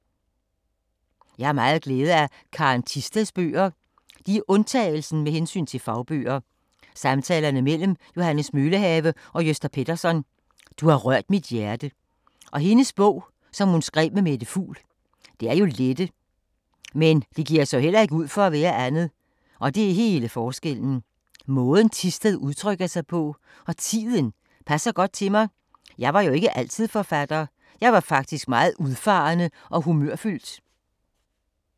Jeg har meget glæde af Karen Thisteds bøger. De er undtagelsen med hensyn til fagbøger. Samtalerne mellem Johannes Møllehave og Gösta Pettersson, Du har rørt mit hjerte. Og hendes bog, som hun skrev med Mette Fugl. Det er jo lettere, men det giver sig heller ikke ud for at være andet og det er hele forskellen. Måden Thisted udtrykker sig på – og tiden - passer godt til mig. Jeg var jo ikke altid forfatter. Jeg var faktisk meget udfarende og humørfyldt.